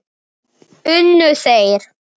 Unnu þeir?